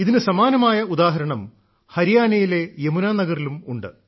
ഇതിനു സമാനമായ ഉദാഹരണം ഹരിയാനയിലെ യമുനാ നഗറിലും ഉണ്ട്